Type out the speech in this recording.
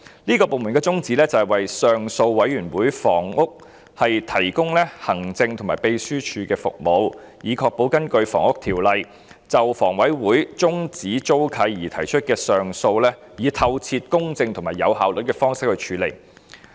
這個綱領的宗旨是為上訴委員會提供行政和秘書支援服務，以確保根據《房屋條例》就房委會終止租契而提出的上訴以透徹、公正及有效率的方式處理。